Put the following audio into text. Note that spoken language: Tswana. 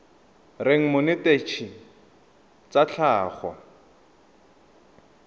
reng monetetshi wa tsa tlhago